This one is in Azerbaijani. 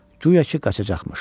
Guya ki, qaçacaqmış.